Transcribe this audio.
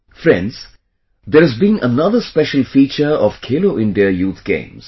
Friends, there has been another special feature of Khelo India Youth Games